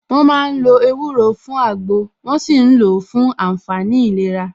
Wọ́n ma ń lo ewúro fún àgbò, wón ṣì ń lò ó fún àǹfààní ìlera